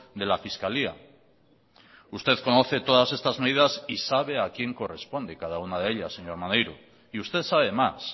de la fiscalía usted conoce todas estas medidas y sabe a quién corresponde cada una de ellas señor maneiro y usted sabe más